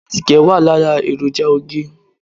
Àtíkè wà lára èròjà oge.